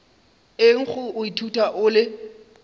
eng go ithuta o le